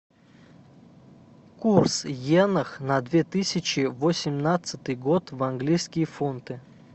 курс йенах на две тысячи восемнадцатый год в английские фунты